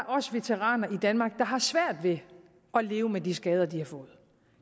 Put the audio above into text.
også veteraner i danmark der har svært ved at leve med de skader de har fået